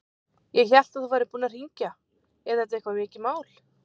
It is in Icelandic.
Ég hélt að þú værir búinn að hringja. er þetta eitthvað mikið mál?